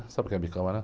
Sabe o que é bicama, né?